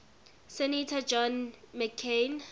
senator john mccain